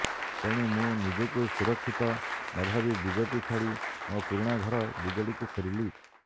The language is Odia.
ତେଣୁ ମୁଁ ନିଜକୁ ସୁରକ୍ଷିତ ନଭାବି ବିଜେପି ଛାଡି ମୋ ପୁରୁଣା ଘର ବିଜେଡିକୁ ଫେରିଲି